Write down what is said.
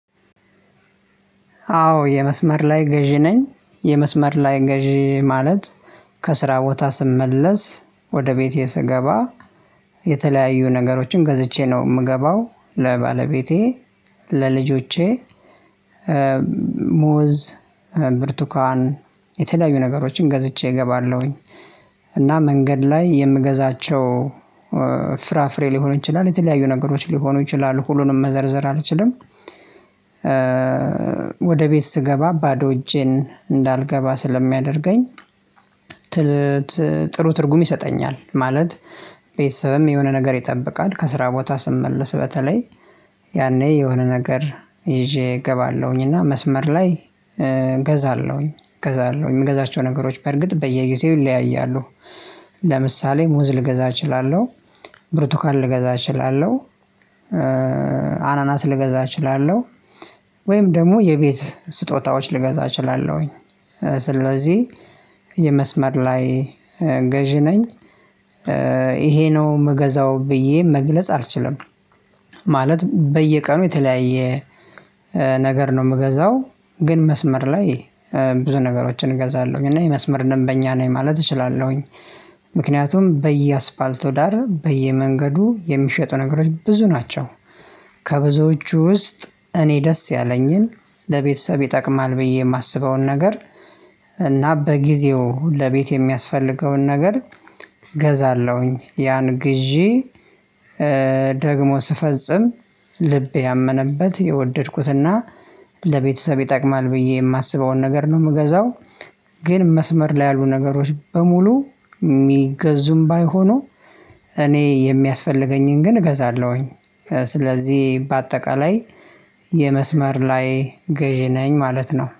አዎ የመስመር ላይ ገዢ ነኝ የመስመር ላይ ገዢ ማለት ከስራ ቦታ ስመለስ ወደ ቤቴ ስገባ የተለያዩ ነገሮችን ገዝቼ ነው ምገባው ለባለቤቴ ለልጆቼ ሙዝ ብርቱካን የተለያዩ ነገሮችን ገዝቼ እገባለሁኝ እና መንገድ ላይ የምገዛቸው ፍራፍሬ ሊሆን ይችላል የተለያዩ ነገሮች ሊሆኑ ይችላሉ ሁሉንም መዘርዘር አልችልም። ወደ ቤት ስገባ ባዶ እጄን እንዳልገባ ስለሚያደርገኝ። ጥሩ ትርጉም ይሰጠኛል ማለት። ቤተሰብም የሆነ ነገር ይጠብቃል ከስራ ቦታ ስመልስ በተለይ ያኔ የሆነ ነገር ይዤ እገባለሁኝ እና መስመር ላይ እገዛለሁኝ እገዛለሁኝ ምገዛቸው ነገሮች በርግጥ በየጊዜው ይለያያሉ። ለምሳሌ ሙዝ ልገዛ እችላለሁ ብርቱካን ልገዛ እችላለሁ አናናስ ልገዛ እችላለሁ ወይም ደግሞ የቤት ስጦታዎች ልገዛ እችላለሁኝ። ስለዚህ የመስመር ላይ ገዢ ነኝ። ይሄ ነው ምገዛው ብዬ መግለጽ አልችልም። ማለት በየቀኑ የተለያየ ነገር ነው ምገዛው። ግን መስመር ላይ ብዙ ነገሮችን እገዛለሁኝ እና የመስመርንም ደንበኛ ነኝ ማለት እችላለሁኝ። ምክንያቱም በየአስፓልቱ ዳር በየመንገዱ የሚሸጡ ነገሮች ብዙ ናቸው። ከብዙዎቹ ውስጥ እኔ ደስ ያለኝን ለቤተሰብ ይጠቅማል ብዬ የማስበውን ነገር እና በጊዜው ለቤት የሚያስፈልገውን ነገር ገዛለሁኝ ያን ግዢ። ደግሞ ስፈጽም ልብ ያመነበት የወደድኩትና ለቤተሰብ ይጠቅማል ብዬ የማስበውን ነገር ነው የምገዛው። ግን መስመር ላይ ያሉ ነገሮች በሙሉ ሚገዙም ባይሆኑ እኔ የሚያስፈልገኝን ግን እገዛለሁኝ። ስለዚህ በአጠቃላይ የመስመር ላይ ገዢ ነኝ ማለት ነው